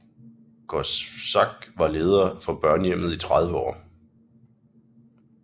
Korczak var leder for børnehjemmet i 30 år